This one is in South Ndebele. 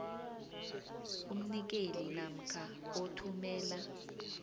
umnikeli namkha othumela